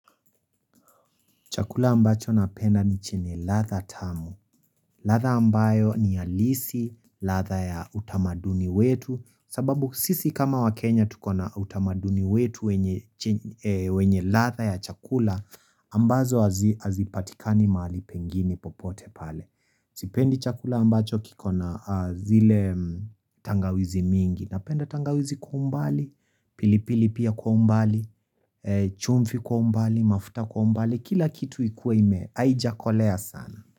Chakula ambacho napenda ni chenye ladha tamu. Ladha ambayo ni halisi. Ladha ya utamaduni wetu, sababu sisi kama wa Kenya tuko na utamaduni wetu, wenye che eeh wenye ladha ya chakula, ambazo hazi, hazipatikani mahali pengine popote pale. Sipendi chakula ambacho kiko na aah zile mmh tangawizi mingi. Napenda tangawizi kwa umbali, pilipili pia kwa umbali, eeh chumvi kwa umbali, mafuta kwa umbali. Kila kitu ikuwe ime, haijakolea sana.